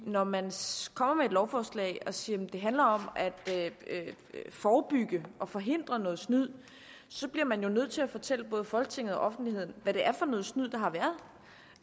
når man kommer med et lovforslag og siger at det handler om at forebygge og forhindre noget snyd bliver man jo nødt til at fortælle både folketinget og offentligheden hvad det er for noget snyd der har været